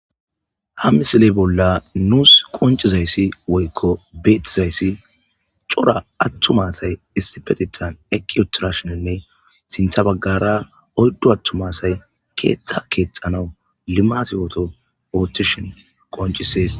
ha misiley bolla nuus qoncizayssi woykko beetizayssi cora attum asay isipetitan eqiotirashoninne sinthabaggara odddu attumasay keeththa keexanau limatiyoto ootishon qoncisees